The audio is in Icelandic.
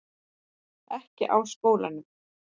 Ekki á skólanum.